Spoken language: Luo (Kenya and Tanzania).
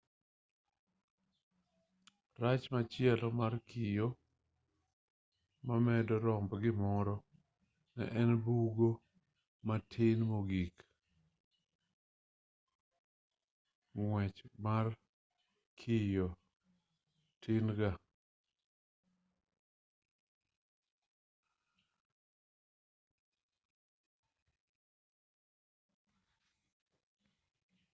rach machielo mar kio mamedo romb gimoro en ni bugo madit mogikng'wechmar kiyo tin gaa